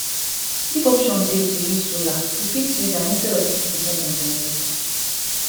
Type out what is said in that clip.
if option dey to use solar you fit use am instead of make you depend on generator